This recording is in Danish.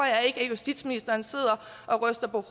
at justitsministeren sidder og ryster på